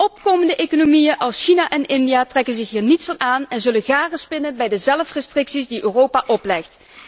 Opkomende economieën als China en India trekken zich hier niets van aan en zullen garen spinnen bij de zelfrestricties die Europa oplegt.